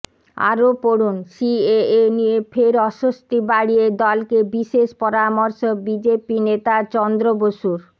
আরও পড়ুন সিএএ নিয়ে ফের অস্বস্তি বাড়িয়ে দলকে বিশেষ পরামর্শ বিজেপি নেতা চন্দ্র বসুর